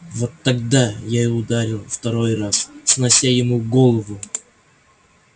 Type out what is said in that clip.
вот тогда я и ударил второй раз снося ему голову